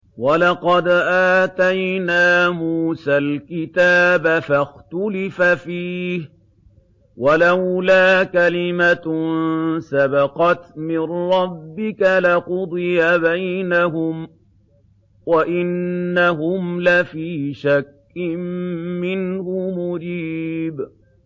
وَلَقَدْ آتَيْنَا مُوسَى الْكِتَابَ فَاخْتُلِفَ فِيهِ ۚ وَلَوْلَا كَلِمَةٌ سَبَقَتْ مِن رَّبِّكَ لَقُضِيَ بَيْنَهُمْ ۚ وَإِنَّهُمْ لَفِي شَكٍّ مِّنْهُ مُرِيبٍ